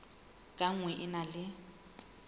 ka nngwe e na le